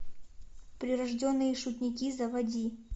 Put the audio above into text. прирожденные шутники заводи